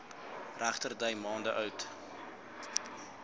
regterdy maande oud